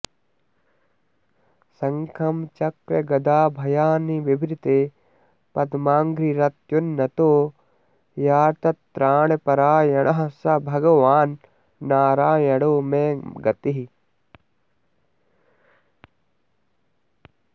शङ्खं चक्रगदाभयानि बिभृते पद्माङ्घ्रिरत्युन्नतो ह्यार्तत्राणपरायणः स भगवान्नारायणो मे गतिः